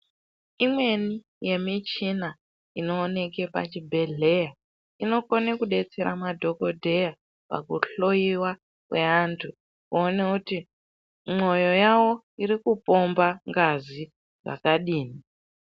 Imweni yemichina inooneke pachibhedhlera inokone kudetsera madhokodheya pakuhloyiwa kwevantu kuone kuti mwoyo yavo irikupomba ngazi zvakadini.